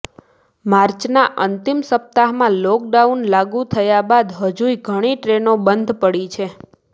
માર્ચના અંતિમ સપ્તાહમાં લોકડાઉન લાગુ થયા બાદ હજુય ઘણી ટ્રેનો બંધ પડી છે